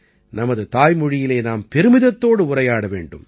நமது தாய்மொழியிலே நாம் பெருமிதத்தோடு உரையாட வேண்டும்